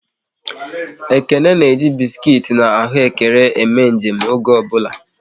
Ekene na eji biskuit na ahụekere eme nje m oge ọ bụla